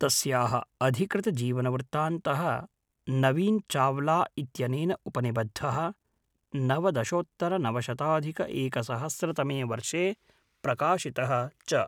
तस्याः अधिकृतजीवनवृत्तान्तः नवीन् चाव्ला इत्यनेन उपनिबद्धः, नवदशोत्तरनवशताधिकएकसहस्रतमे वर्षे प्रकाशितः च